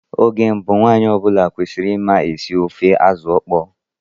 Oge mbụ, nwanyị ọ bụla kwesịrị ịma esi ofe azụ ịkpọ.